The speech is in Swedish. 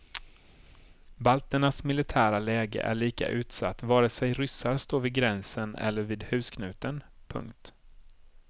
Balternas militära läge är lika utsatt vare sig ryssar står vid gränsen eller vid husknuten. punkt